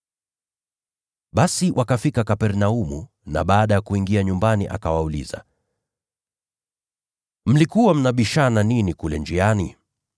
Basi wakafika Kapernaumu na baada ya kuingia nyumbani akawauliza, “Mlikuwa mnabishana nini kule njiani?”